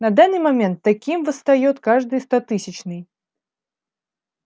на данный момент таким восстаёт каждый стотысячный